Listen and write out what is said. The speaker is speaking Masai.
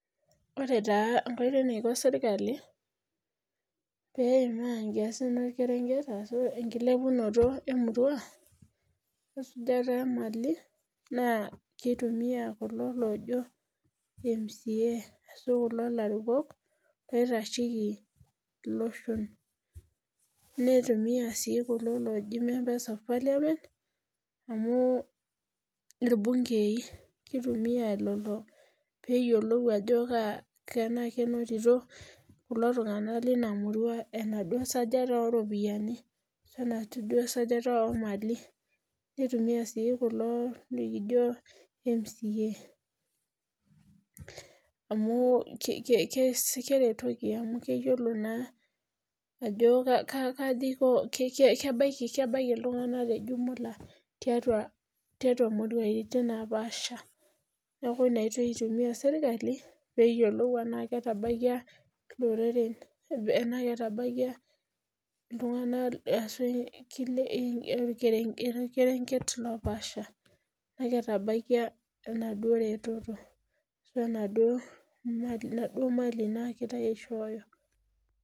Ore taa eniko sirkali pee eimaa nkirenket enkilepunoto emurua wesijata oomali naa kitumiya kulo looji mca, ashu kulo arikok oitasheki iloshon ,nitumiyia sii kulo looji member of Parliament amu irbunkei keitumiyai lelo pee eyiolou tenaa kenotito iltunganak lina murua enaduo sujare oonaduo ropiyiani nitumiya sii kulo likijo mcaamu keretoki naa tenaa ketabaikia iltunganak tejumula tiatua murai naapasha .neeku ianoitoi naa eitumiyia sirkali pee eyiolou tenaa ketabaikia iloreren ashua orkerenket loopaasha ,tenaa ketabaikia enaduo reteto ashua naduo mali nagirae aishooyo.